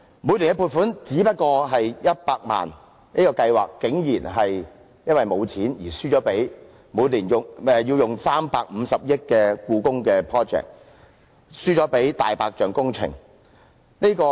每年的撥款只不過是100萬元，但這項計劃竟然因為缺錢而輸掉給每年要耗費350億元的"故宮 project" 這個"大白象"工程。